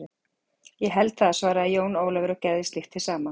Ég held það, svaraði Jón Ólafur og gerði slíkt hið sama.